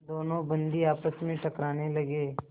दोनों बंदी आपस में टकराने लगे